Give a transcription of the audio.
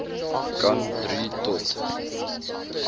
kan drie tot